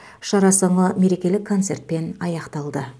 шара соңы мерекелік концертпен аяқталды